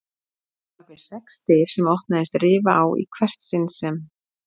Og bakvið sex dyr sem opnaðist rifa á í hvert sinn sem